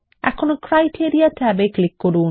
এখন ক্রাইটেরিয়া ট্যাবে ক্লিক করুন